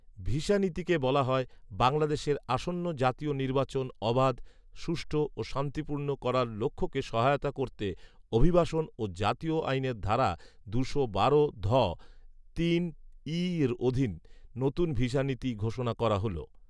visa নীতিতে বলা হয়, বাংলাদেশের আসন্ন জাতীয় নির্বাচন অবাধ, সুষ্ঠু ও শান্তিপূর্ণ করার লক্ষ্যকে সহায়তা করতে অভিবাসন ও জাতীয়তা আইনের ধারা দুশো বারো ধ তিন ঈএর অধীনে নতুন ভিসা নীতি ঘোষণা করা হলো